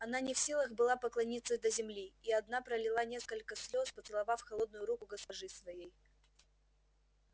она не в силах была поклониться до земли и одна пролила несколько слез поцеловав холодную руку госпожи своей